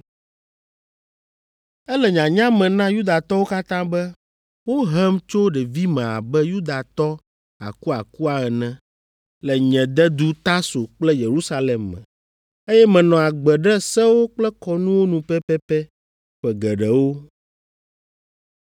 “Ele nyanya me na Yudatɔwo katã be wohem tso ɖevime abe Yudatɔ akuakua ene, le nye dedu Tarso kple Yerusalem me, eye menɔ agbe ɖe sewo kple kɔnuwo nu pɛpɛpɛ ƒe geɖewo.